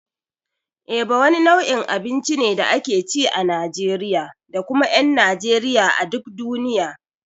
Eba wani nau'in abinci ne da ake ci a Najeriya da kuma ƴan Najeriya a duk duniya.